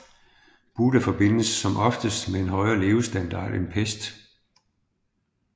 Buda forbindes som oftest med en højere levestandard end Pest